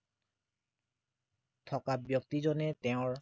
থকা ব্য়ক্তিজনে তেওঁৰ